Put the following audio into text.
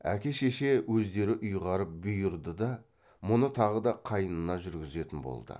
әке шеше өздері ұйғарып бұйырды да мұны тағы да қайнына жүргізетін болды